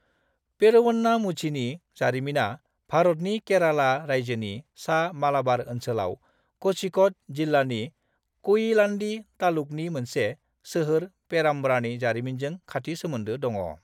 पेरुवन्नामुझीनि जारिमिना भारतनि केराला रायजोनि सा मालाबार ओनसोलाव क'झिक'ड जिल्लानि कयिलान्डी तालुकनि मोनसे सोहोर पेराम्ब्रानि जारिमिनजों खाथि सोमोन्दो दङ।